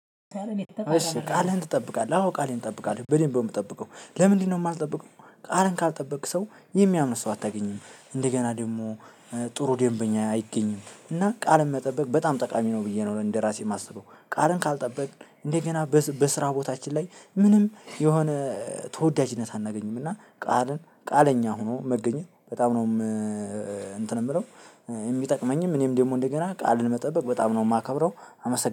እሺ ቃልህን ትጠብቃለህ አዎ ቃሌን እጠብቃለሁ በደንብ ነው የምጠብቀው። ለምንድነው? የማልጠብቀው ቃልን ካልጠበቅክ ሰው የሚያምን ሰው አታገኝም። እንደገና ደግሞ ጥሩ ደንበኛ አይገኝም። እና ቃል መጠበቅ በጣም ጠቃሚ ነው ብዬ ነው እንደራሴ የማስበው። ቃልን ካልጠበቅክ እንደገና በስራ ቦታችን ላይ ምንም የሆነ ተወዳጅነት አናገኝም። እና ቃልን ቃለኛ ሆኖ መገኘት በጣም ነው። እንትን የምለው የሚጠቅመኝም እኔም ደግሞ እንደገና ቃልን መጠበቅ በጣም ነው የማከብረው። አመሰግናለሁ